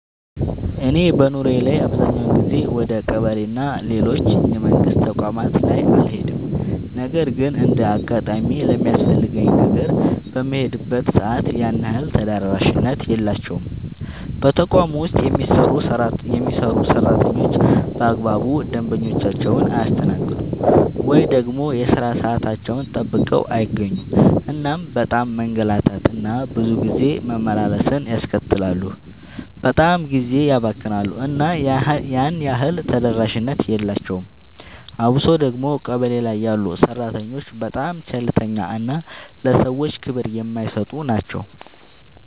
እኔ በኑሮዬ ላይ አብዛኛውን ጊዜ ወደ ቀበሌ እና ሌሎች የመንግስት ተቋማት ላይ አልሄድም ነገር ግን እንደ አጋጣሚ ለሚያስፈልገኝ ነገር በምሄድበት ሰዓት ያን ያህል ተደራሽነት የላቸውም። በተቋም ውስጥ የሚሰሩ ሰራተኞች በአግባቡ ደንበኞቻቸውን አያስተናግዱም። ወይ ደግሞ የሥራ ሰዓታቸውን ጠብቀው አይገኙም እናም በጣም መንገላታት እና ብዙ ጊዜ መመላለስን ያስከትላሉ በጣምም ጊዜ ያባክናሉ እና ያን ያህል ተደራሽነት የላቸውም። አብሶ ደግሞ ቀበሌ ላይ ያሉ ሰራተኞች በጣም ቸልተኛ እና ለሰዎች ክብር የማይሰጡ ናቸው።